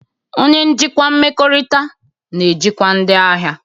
Onye njikwa mmekọrịta na-ejikwa ndị ahịa.